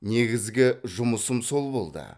негізгі жұмысым сол болды